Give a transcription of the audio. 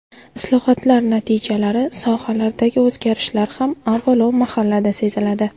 Islohotlar natijalari, sohalardagi o‘zgarishlar ham avvalo mahallada seziladi.